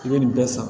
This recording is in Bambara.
I bɛ nin bɛɛ san